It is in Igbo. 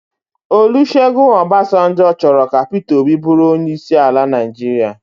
Olusegun Obasanjo chọrọ ka Pita Obi bụrụ onyeisi al Naịjirịa